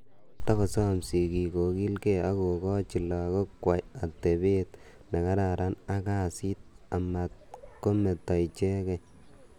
Kotogosam sigiik kogiilgei agogochi lagook kwai atebeet nekararan ak kasiit amatkometo ichekei.